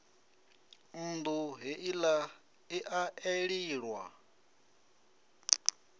nnḓu heila i a eliwa